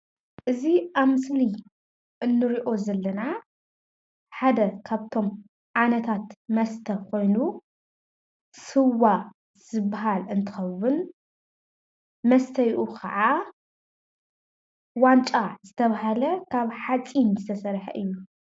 እዚ አብ ምስሊ እነሪኦ ዘለና ሓደ ካብቶመ ዓይነታት መስተ ኾይኑ ስዋ ዝበሃለ እንትኸውን መስተዩኡ ከዓ ዋንጫ ዝተባህለ ካብ ሓፂን ዝተሰርሐ እዩ፡፡